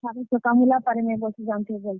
ଖାଲି ଚକାମୁଲା ପାରି ନେଇ ବସି ଜାନୁଥାଇ ଭଲସେ।